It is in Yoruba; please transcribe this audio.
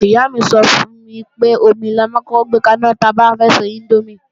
Ìyá mi sọ fún mi pé, omi la máa ń kọ́kọ́ gbé kaná ta bá fẹ́ ṣe índómì